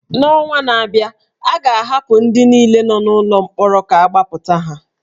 N’ọnwa na-abịa, a ga-ahapụ ndị niile nọ n’ụlọ mkpọrọ ka agbapụta ha